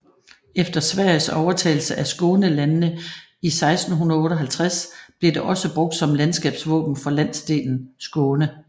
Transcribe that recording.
Efter Sveriges overtagelse af Skånelandene i 1658 blev det også brugt som landskabsvåben for landsdelen Skåne